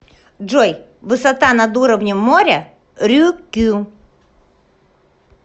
джой высота над уровнем моря рюкю